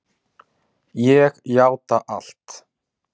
Ég játa allt